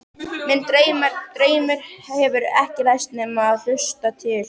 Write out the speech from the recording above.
Minn draumur hefur ekki ræst nema að hluta til.